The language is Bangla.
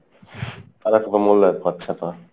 তারা কোনো মূল্যায়ন পাচ্ছে না।